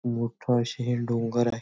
मोठा आशे हे डोंगर आहे.